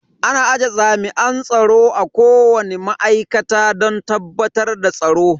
Ana aje jami'an tsaro a kowani ma'aikata don tabbatar da tsaro.